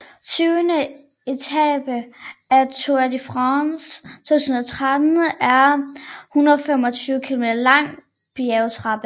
Tyvende etape af Tour de France 2013 er en 125 km lang bjergetape